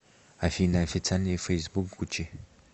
афина официальный фейсбук гуччи